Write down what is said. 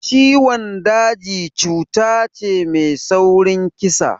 Ciwon daji cuta ce mai saurin kisa